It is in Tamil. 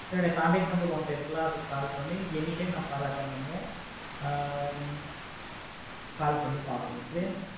வேற contact number உங்கிட்ட இருக்குல்ல அதுக்கு call பண்ணு anytime ந call attend பண்ணுவ ஆஹ் call பானு call பானு okay வ